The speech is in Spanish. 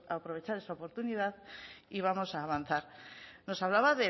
aprovechar esta oportunidad y vamos a avanzar